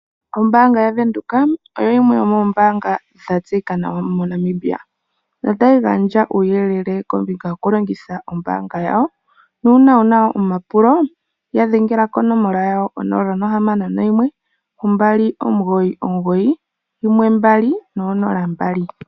Ombanga yaVenduka oyo yimwe yomoombaga dha tseyika nawa moNamibia notayi gandja uuyelele wokulongitha ombanga yawo nuuna wu na omapulo ya dhengela konomola yawo ko 0612991200.